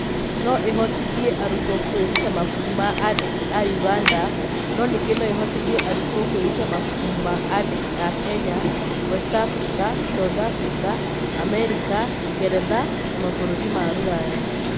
Nĩ ĩhotithĩtie arutwo kwĩruta mabuku ma andĩki a ũganda, no ningĩ nĩ ĩhotithĩtie arutwo kwĩruta mabuku ma andĩki a Kenya, West Africa, South Africa, Amerika, Ngeretha na mabũrũri ma Rũraya.